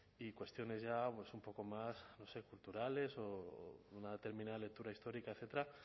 y cuestiones ya un poco más culturales o de una determinada lectura histórica etcétera